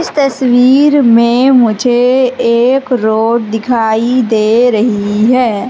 इस तस्वीर में मुझे एक रोड दिखाई दे रही है।